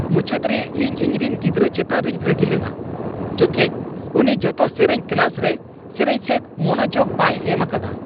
ᱢᱩᱪᱟᱹᱫ ᱨᱮ ᱤᱧ ᱤᱧᱨᱮᱱ ᱜᱤᱫᱽᱨᱟᱹ ᱪᱮᱛᱟᱱ ᱨᱤᱧ ᱨᱟᱹᱜᱤ ᱞᱮᱱᱟ, ᱡᱚᱠᱷᱮᱡ ᱩᱱᱤ ᱡᱚᱛᱚ ᱥᱮᱨᱮᱧ ᱠᱞᱟᱥ ᱨᱮ ᱥᱮᱨᱮᱧ ᱥᱮᱫ ᱢᱚᱱᱚᱡᱳᱜ ᱵᱟᱭ ᱮᱢ ᱟᱠᱟᱫᱟ ᱾